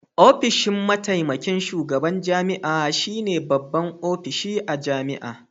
Ofishin mataimakin shugaban jami'a shine babban ofishi a jami'a